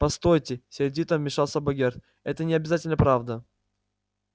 постойте сердито вмешался богерт это не обязательно правда